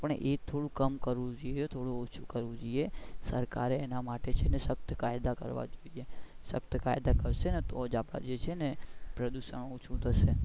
પણ એ થોડું કમ કરવું જોઈએ થોડું ઓછું કરવું જોઈએ સરકારે છે ને એના માટે શકત કાયદા કરવા જોઈએ શકત કાયદા થશે ને તો જ છે ને આપડે જે છે ને પ્રદુશન ઓછું થશે.